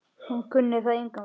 Hún kunni það engan veginn.